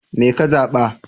Me ka zaɓa?